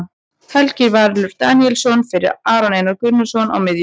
Helgi Valur Daníelsson fyrir Aron Einar Gunnarsson á miðjuna.